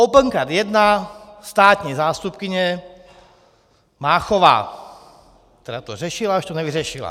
Opencard 1 - státní zástupkyně Máchová, která to řešila, až to nevyřešila.